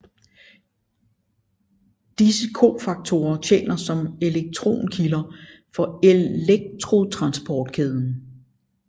Disse cofaktorer tjener som elektronkilder for elektrontransportkæden